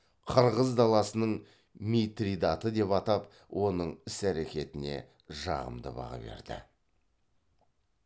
қырғыз даласының митридаты деп атап оның іс әрекеттеріне жағымды баға берді